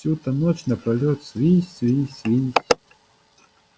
всю-то ночь напролёт свись свись свись